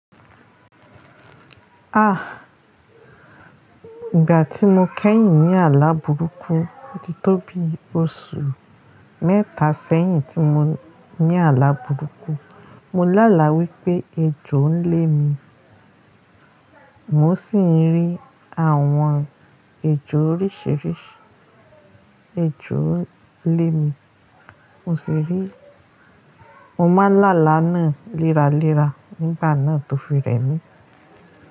Ah, ìgbà tí mo kẹ́yìn ní àlá burúkú ti tóbi oṣù mẹ́ta sẹ́yìn tí mo ní àlá burúkú. Mo lá là wípé ejò ń lẹ́ mi. Mo sì ń rí àwọn ejò oríṣìíríṣìí. Ejò ń lẹ́ mi. Mo sì rí. Mo máa ń làláà naa léra léra nígbà náà tó fi rẹ́ mi.